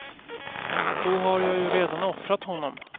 Då har jag ju redan offrat honom.